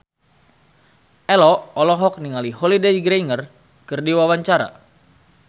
Ello olohok ningali Holliday Grainger keur diwawancara